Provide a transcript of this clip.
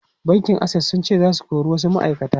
Bankin Access sun ce za su kori wasu ma’aikata.